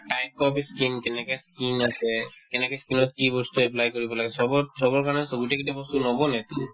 type of ই skin কেনেকে skin কৰে কেনেকে skin ত কি বস্তু apply কৰিব লাগে চবত চবৰ কাৰণে so গোটেইখিনি বস্তু নবনেতো